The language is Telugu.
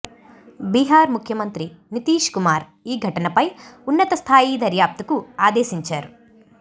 బిహార్ ముఖ్యమంత్రి నితీశ్ కుమార్ ఈ ఘటనపై ఉన్నత స్థాయి దర్యాప్తుకు ఆదేశించారు